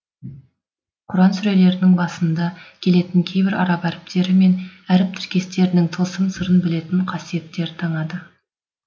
құран сүрелерінің басында келетін кейбір араб әріптері мен әріп тіркестерінің тылсым сырын білетін қасиеттер таңады